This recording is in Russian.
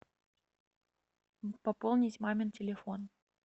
пополнить мамин телефон